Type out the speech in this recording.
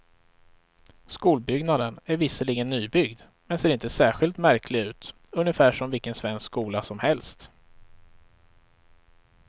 Skolbyggnaden är visserligen nybyggd, men ser inte särskilt märklig ut, ungefär som vilken svensk skola som helst.